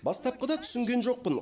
бастапқыда түсінген жоқпын